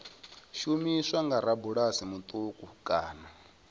shumiswa nga rabulasi muṱuku kana